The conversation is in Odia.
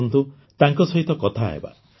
ଆସନ୍ତୁ ତାଙ୍କ ସହିତ କଥା ହେବା